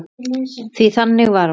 Því þannig var hún.